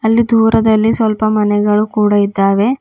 ಅಲ್ಲಿ ದೂರದಲ್ಲಿ ಸ್ವಲ್ಪ ಮನೆಗಳು ಕೂಡ ಇದ್ದಾವೆ.